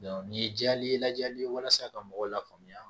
nin ye jaa i ye lajɛli ye walasa ka mɔgɔw la faamuya